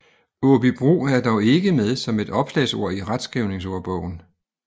Aabybro er dog ikke med som et opslagsord i retskrivningsordbogen